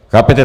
Chápete?